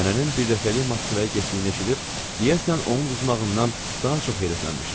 Nənənin birdəfəlik Moskvaya getdiyini eşidib, deyəsən, onun uduzmağından daha çox həyəflənmişdilər.